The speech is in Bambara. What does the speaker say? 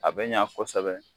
A bɛ ɲa kosɛbɛ